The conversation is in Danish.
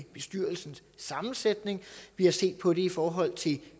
bestyrelsens sammensætning vi har set på det i forhold til